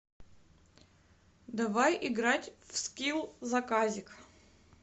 давай играть в скилл заказик